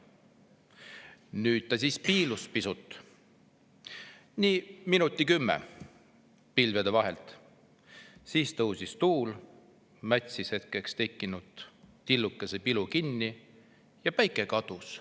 Nüüd ta siiski piilus pisut – nii minutit kümme – pilvede vahelt, siis tõusis tuul, mätsis hetkeks tekkinud tillukese pilu kinni ja päike kadus.